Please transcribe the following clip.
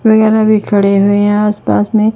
वगैरा भी खड़े हुए हैं आस पास में--